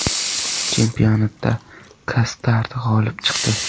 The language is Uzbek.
Chempionatda Kastard g‘olib chiqdi.